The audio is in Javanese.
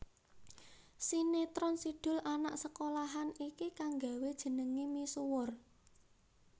Sinetron Si Doel Anak Sekolahan iki kang nggawé jenengé misuwur